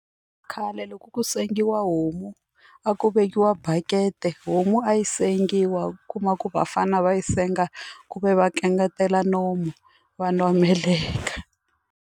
Khale loko ku sengiwa homu a ku vekiwa bakiti homu a yi sengiwa u kuma ku vafana va yi senga ku ve va kangatela nomu va nwa meleka.